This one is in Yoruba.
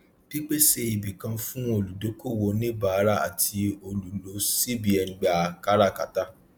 pípèsè ibìkan fún olùdókòwò oníbàárà àti olùlò cbn gbà kárakátà